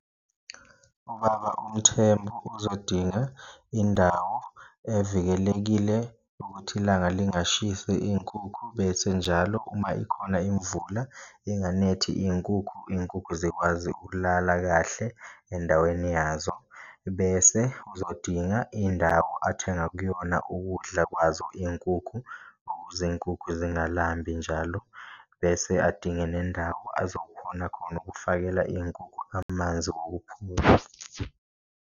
UBaba uMthembu uzodinga indawo evikelekile ukuthi ilanga lingashisi iy'nkukhu, bese njalo uma ikhona imvula inganethi inkukhu, inkukhu zikwazi ukulala kahle endaweni yazo, bese uzodinga indawo athenga kuyona ukudla kwazo inkukhu ukuze inkukhu zingalambi njalo. Bese adinge nendawo azokhona khona ukufakela iy'nkukhu amanzi .